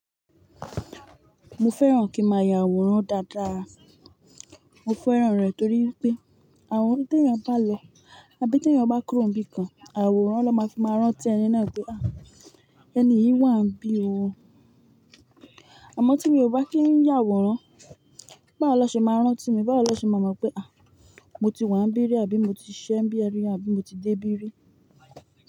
Mo fẹ́ràn kí màá ya àwòrán dáadáa. Mo fẹ́ràn rẹ̀ torí pé àwòrán tí ẹ̀yin bá lọ, àbí tí ẹ̀yin bá kúrò níbi kan, àwòrán ló máa fi máa rántí ẹni náà pé "à, ẹni yìí wà íbí ó". Àmọ́ tí mi ò bá kí ń yà àwòrán, báwo lọ ṣe máa rántí mi? Báwo lọ ṣe máa mọ̀ pé à, mo ti wà níbí rí àbí mo ti ṣí ẹ́ níbi rí àbí mo ti dé bí rí?